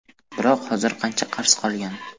Biroq hozir qancha qarz qolgan?